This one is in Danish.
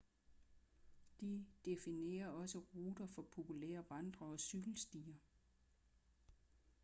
de definerer også ruter for populære vandre- og cykelstier